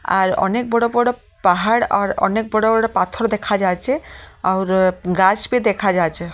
আর অনেক বড় বড় পাহাড় আর অনেক বড় বড় পাথর দেখা যাচ্ছে অউর গাছ ভি দেখা যাচ্ছে।